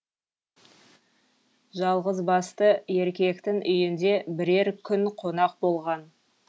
жалғызбасты еркектің үйінде бірер күн қонақ болған